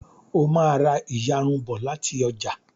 o má rá iyarun bó láti ọjà